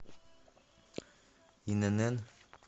инн